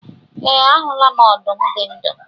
E, ahula m ọdụm dị ndụ.